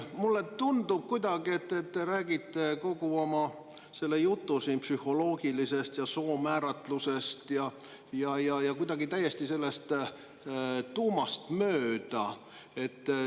Mulle tundub, et te räägite siin kogu oma jutu psühholoogilisest ja soomääratlusest täiesti tuumast mööda.